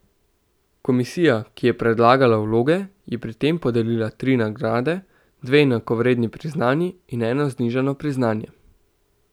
Komisija, ki je pregledala vloge, je pri tem podelila tri nagrade, dve enakovredni priznanji in eno znižano priznanje.